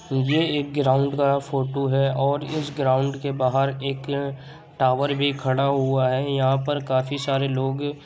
ये एक ग्राउन्ड का फोटो है और इस ग्राउन्ड के बाहर एक अ टावर भी खड़ा हुआ है। यहाँ पर काफी सारे लोग --